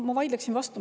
Ma vaidleksin vastu.